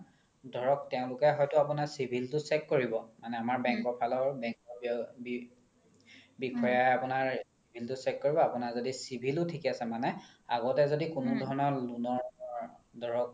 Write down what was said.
ধৰক তেওলোকে হয়তো আপোনাৰ civil তো check কৰিব মানে আমাৰ bank ৰ ফালৰ বিষয়া আপোনাৰ civil তো check কৰিব য্দি আপোনাৰ civil ও থিকে আছে মানে আগতে য্দি কোনো ধৰণৰ loan ৰ ধৰক